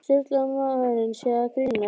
Sturlu að maðurinn sé að grínast.